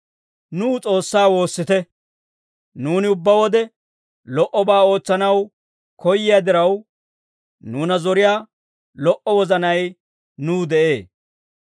Nuw S'oossaa woossite. Nuuni ubbaa wode lo"obaa ootsanaw koyyiyaa diraw, nuuna zoriyaa lo"o wozanay nuw de'ee.